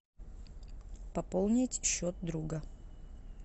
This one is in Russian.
пополнить счет друга